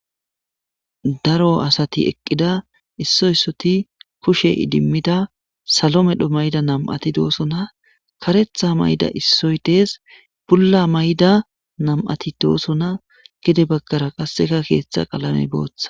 Daro asati eqida isso issoti kushe idimida salo medho mayida nam'ati de'osona karetha mayida issoy de'es bulla mayida nam'ati de'osona gede bagara kaseka keetha qalame bootha